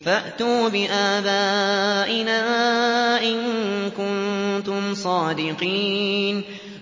فَأْتُوا بِآبَائِنَا إِن كُنتُمْ صَادِقِينَ